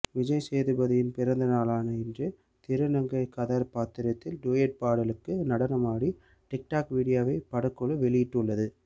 விஜய் சேதுபதியின் பிறந்தநாளான இன்று திருநங்கை கதாபாத்திரத்தில் டூயட் பாடலுக்கு நடனமாடும் டிக்டாக் வீடியோவை படக்குழு வெளியிட்டுள்ளது